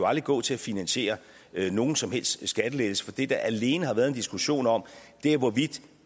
aldrig gå til at finansiere nogen som helst skattelettelse for det der alene har været en diskussion om er hvorvidt